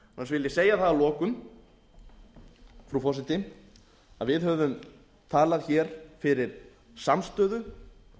ég segja það að lokum frú forseti að við höfum talað hér fyrir samstöðu